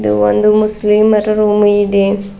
ಇದು ಒಂದು ಮುಸ್ಲಿಂ ಅರ ರೂಮ್ ಇದೆ.